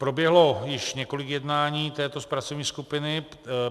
Proběhlo již několik jednání této pracovní skupiny.